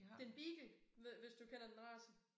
Det en beagle hvis du kender den race